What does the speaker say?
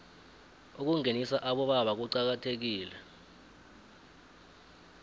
ukungenisa abobaba kucakathekile